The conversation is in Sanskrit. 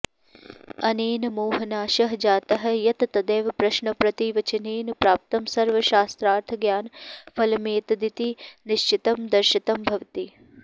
अनेन मोहनाशः जातः यत् तदेव प्रश्नप्रतिवचनेन प्राप्तं सर्वशास्त्रार्थज्ञान फलमेतदिति निश्चितं दर्शितं भवति